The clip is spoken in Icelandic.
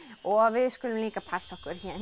og við skulum líka passa okkur héðan í